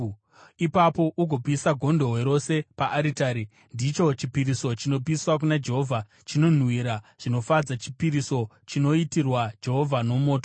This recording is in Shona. Ipapo ugopisa gondobwe rose paaritari. Ndicho chipiriso chinopiswa kuna Jehovha, chinonhuhwira zvinofadza, chipiriso chinoitirwa Jehovha nomoto.